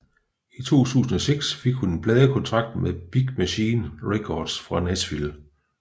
I 2006 fik hun en pladekontrakt med Big Machine Records fra Nashville